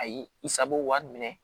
Ayi i sago wari minɛ